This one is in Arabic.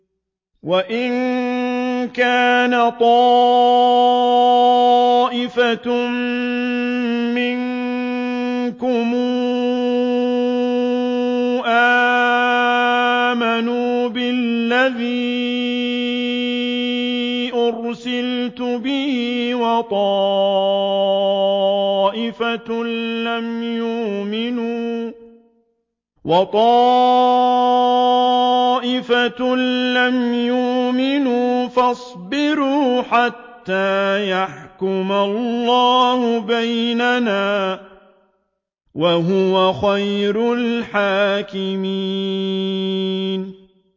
وَإِن كَانَ طَائِفَةٌ مِّنكُمْ آمَنُوا بِالَّذِي أُرْسِلْتُ بِهِ وَطَائِفَةٌ لَّمْ يُؤْمِنُوا فَاصْبِرُوا حَتَّىٰ يَحْكُمَ اللَّهُ بَيْنَنَا ۚ وَهُوَ خَيْرُ الْحَاكِمِينَ